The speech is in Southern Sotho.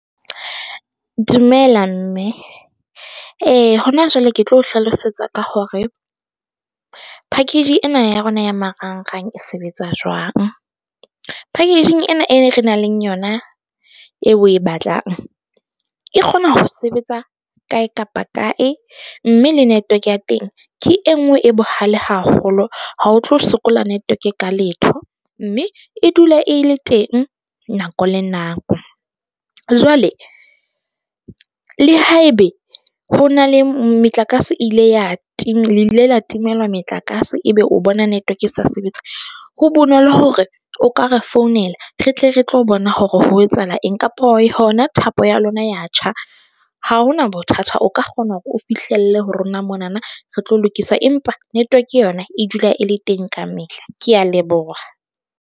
Dumela mme e hona jwale ke tlo o hlalosetsa ka hore package ena ya rona ya marang-rang e sebetsa jwang. Packaging ena e re nang le yona eo oe batlang e kgona ho sebetsa kae kapa kae mme le network ya teng ke e nngwe e bohale haholo ha o tlo sokola network ka letho, mme e dula e le teng nako le nako. Jwale le haebe ho na le metlakase ile ya tima le ile la timelwa metlakase e be o bona network e sa sebetse. Ho bonolo hore o ka re founela re tle re tlo bona hore ho etsahala eng kapa hona thapo ya lona ya tjha. Ha hona bothata o ka kgona hore o fihlelle ho rona mo na na re tlo lokisa, empa network yona e dula e le teng kamehla. Ke a leboha.